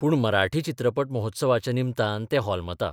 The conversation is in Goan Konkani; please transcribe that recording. पूण मराठी चित्रपट महोत्सवाच्या निमतान तें होलमता.